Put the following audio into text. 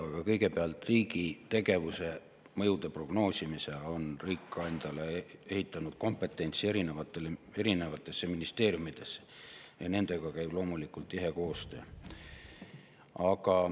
Aga kõigepealt, riigi tegevuse mõjude prognoosimiseks on riik ehitanud kompetentsi erinevatesse ministeeriumidesse ja nendega käib loomulikult tihe koostöö.